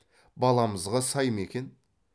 баламызға сай ма екен